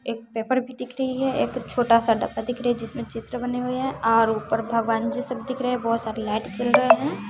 एक पेपर भी दिख रही है एक छोटा सा डब्बा दिख रही जिसमें चित्र बनी हुई है और ऊपर भगवान जी सब दिख रहे बहोत सारी लाइट जल रहे हैं।